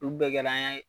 Olu bɛɛ kɛra an ye